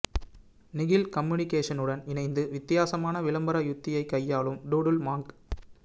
நிகில் கம்யுனிகேஷனுடன் இணைந்து வித்தியாசமான விளம்பர யுக்தியை கையாளும் டூடுல் மாங்க்